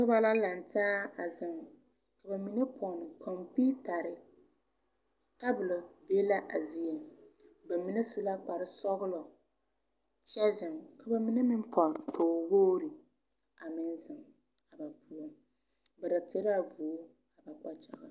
Noba la lantaa a zeŋ ka ba mine pɔn kɔmpiitare tabolɔ be la a zie ba mine su la kparsɔɡelɔ kyɛ zeŋ ka ba mine meŋ pɔn toowoɡri a meŋ zeŋ a ba poɔ ba taraa vūū a ba kpakyaɡaŋ .